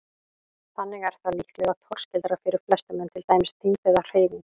Þannig er það líklega torskildara fyrir flestum en til dæmis þyngd eða hreyfing.